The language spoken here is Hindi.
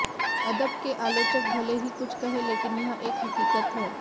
अदब के आलोचक भले ही कुछ कहें लेकिन यह एक हक़ीकत है